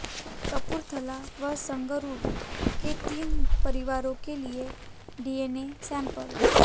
कपूरथला व संगरूर के तीन परिवारो के लिए डीएनए सैंपल